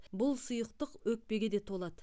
бұл сұйықтық өкпеге де толады